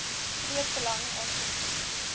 groot belang aangesien